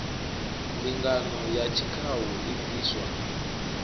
mbingano ya tshikhau i bviswa